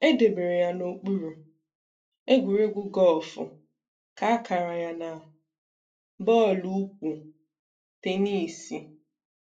"E debere ya n'okpuru :egwuregwu Guff, kaa akara ya na: bọọlụ ụkwụ, tenisi. "